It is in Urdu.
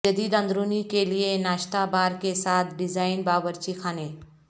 جدید اندرونی کے لئے ناشتا بار کے ساتھ ڈیزائن باورچی خانے